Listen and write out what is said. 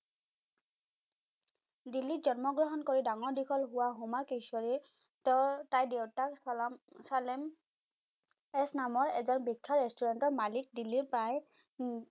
দিল্লীত জন্ম গ্ৰহণ কৰি ডাঙৰ দীঘল হোৱা হুমা কুৰেশ্বি তাইৰ দেউতাক চালেম এচ নামৰ এজন বিখ্যাত restaurant মালিক দিল্লীৰ প্ৰায়